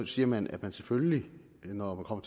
siger man at man selvfølgelig når man kommer